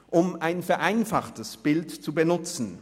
Um ein vereinfachtes Bild zu benutzen: